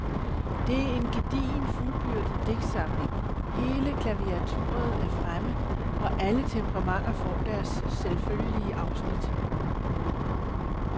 Det er en gedigen fuldbyrdet digtsamling, hele klaviaturet er fremme, og alle temperamenter får deres selvfølgelige afsnit.